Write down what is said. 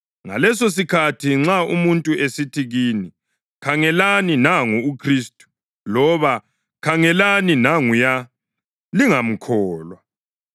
Ngalesosikhathi nxa umuntu esithi kini, ‘Khangelani, nangu uKhristu!’ loba ‘Khangelani, nanguya,’ lingamkholwa.